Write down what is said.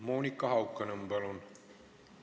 Monika Haukanõmm, palun!